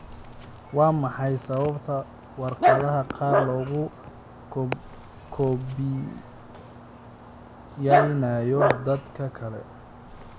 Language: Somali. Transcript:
Waa maxay sababta waraaqaha qaar loogu koobiyaynayo dadka kale?